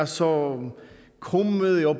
så krumme